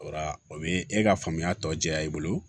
O la o be e ka faamuya tɔ diya i bolo